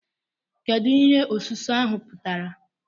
Kedu ihe ọsụsụ ahụ pụtara?